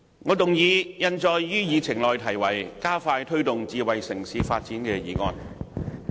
我動議印載於議程內題為"加快推動智慧城市發展"的議案。